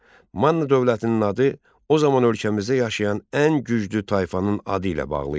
Manna dövlətinin adı o zaman ölkəmizdə yaşayan ən güclü tayfanın adı ilə bağlı idi.